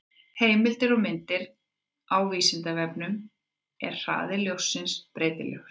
Heimildir og myndir: Á Vísindavefnum: Er hraði ljóssins breytilegur?